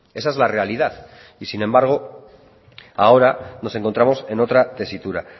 esa es la realidad y sin embargo ahora nos encontramos en otra tesitura